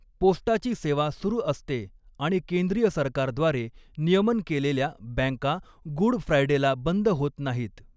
पोस्टाची सेवा सुरू असते आणि केंद्रीय सरकारद्वारे नियमन केलेल्या बँका गुड फ्रायडेला बंद होत नाहीत.